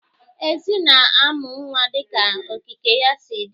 Ezi na-amu nnwa dịka okike ya si dị.